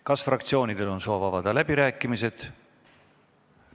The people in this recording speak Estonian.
Kas fraktsioonidel on soovi avada läbirääkimisi?